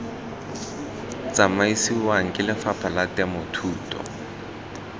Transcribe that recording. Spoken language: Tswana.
tsamisiwang ke lefapha la temothuo